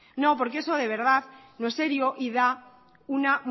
no porque eso de verdad no es serio y da una